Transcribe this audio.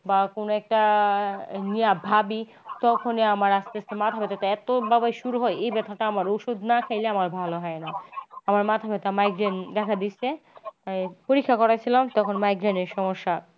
বা কোনো একটা নিয়া ভাবি তখনই আমার আস্তে আস্তে মাথা ব্যাথাটা এত ভাবে শুরু হয় এই ব্যাথাটা আমার ওষুধ না খেলে আমার ভালো হয়না। আমার মাথা ব্যাথা migraine দেখা দিচ্ছে তাই পরীক্ষা করেছিলাম তখন migraine এর সমস্যা।